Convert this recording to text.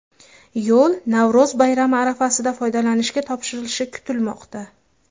Yo‘l Navro‘z bayrami arafasida foydalanishga topshirilishi kutilmoqda.